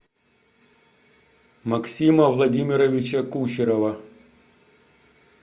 максима владимировича кучерова